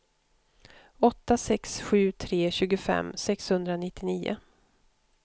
åtta sex sju tre tjugofem sexhundranittionio